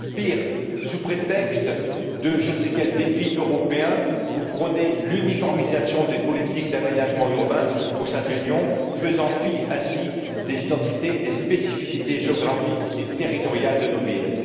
Pire, sous prétexte de je ne sais quel défi européen, vous prônez l'uniformisation des politiques d'aménagement urbain au sein de l'Union, faisant fi ainsi des identités et des spécificités géographiques et territoriales de nos villes.